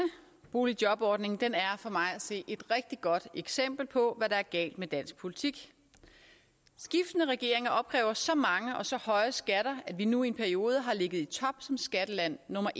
boligjobordning er for mig at se et rigtig godt eksempel på hvad der er galt med dansk politik skiftende regeringer opkræver så mange og så høje skatter at vi nu i en periode har ligget i top som skatteland nummer